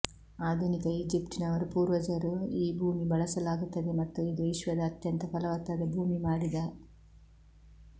ಆಧುನಿಕ ಈಜಿಪ್ಟಿನವರು ಪೂರ್ವಜರು ಈ ಭೂಮಿ ಬಳಸಲಾಗುತ್ತದೆ ಮತ್ತು ಇದು ವಿಶ್ವದ ಅತ್ಯಂತ ಫಲವತ್ತಾದ ಭೂಮಿ ಮಾಡಿದ